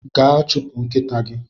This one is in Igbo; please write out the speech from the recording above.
Gaa chụpụ nkịta gi!